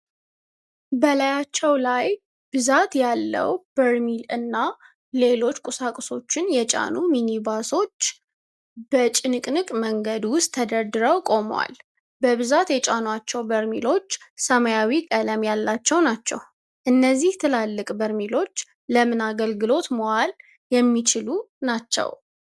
በላያቸው ላይ ብዛት ያለው በርሚል እና ሌሎች ቁሳቁሶችን የጫኑ ሚኒባሶች በጭንቅንቅ መንገድ ውስጥ ተደርድረው ቆመዋል። በብዛት የጫኗቸው በርሚሎች ሰማያዊ ቀለም ያላቸው ናቸው። እነዚህ ትላልቅ በርሚሎች ለምን አገልግሎት መዋል የሚችሉ ናቸው?